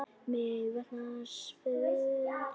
Mig vantar svör.